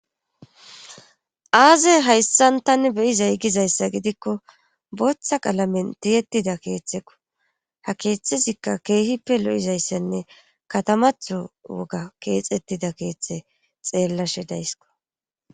Aaze hayssan tani beyizay giza issa giddikko booththa qalamen tiyettida keeththakko .Ha keeththasikka keehippe lo'iza issanne kaatamatho woga keexettida keeththa xeellashe days.